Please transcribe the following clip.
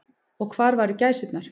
Og hvar væru gæsirnar.